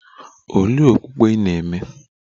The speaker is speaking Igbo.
Olee okpukpe ị na - eme?